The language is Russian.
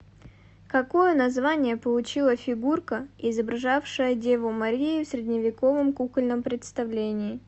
какое название получила фигурка изображавшая деву марию в средневековом кукольном представлении